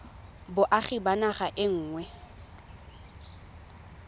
boagi ba naga e nngwe